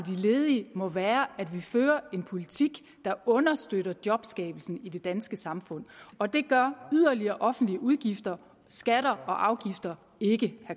ledige må være at vi fører en politik der understøtter jobskabelsen i det danske samfund og det gør yderligere offentlige udgifter skatter og afgifter ikke